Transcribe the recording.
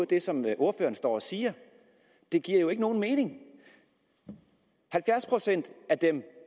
det som ordføreren står og siger det giver jo ikke nogen mening halvfjerds procent af dem